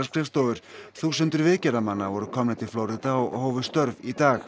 skrifstofur þúsundir voru komnir til Flórída og hófu störf í dag